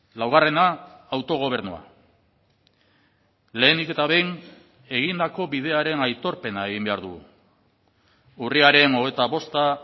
laugarrena autogobernua lehenik eta behin egindako bidearen aitorpena egin behar dugu urriaren hogeita bosta